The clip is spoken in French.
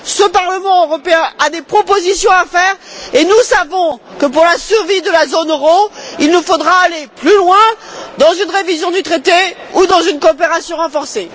Ce Parlement européen a des propositions à faire et nous savons que pour la survie de la zone euro, il nous faudra aller plus loin dans une révision du traité ou dans une coopération renforcée.